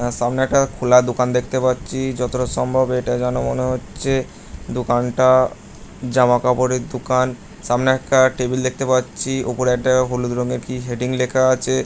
সামনে একটা খোলা দোকান দেখতে পাচ্ছি যতটা সম্ভব এটা যেন মনে হচ্ছে দোকানটা জামা কাপড়ের দোকান সামনে একটা টেবিল দেখতে পাচ্ছি ওপরে একটা হলুদ রঙের কি হেডিং লেখা আছে।